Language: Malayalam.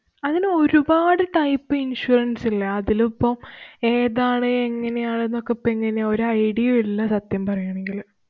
അങ്ങനെ ഒരു പാട് type insurance ഇല്ലേ? അതിലിപ്പോ ഏതാണ്, എങ്ങനെയാണ് ന്നൊക്കെ ഇപ്പൊ എങ്ങനയാ ഒരു idea യും ഇല്ല സത്യം പറയുകയാണെങ്കില്‍.